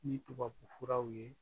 Ni tubabufraw ye